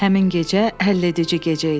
Həmin gecə həlledici gecə idi.